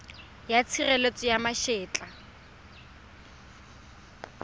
ya tshireletso ya ma etla